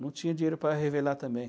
Não tinha dinheiro para revelar também.